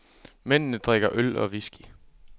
Mændene drikker øl og whisky.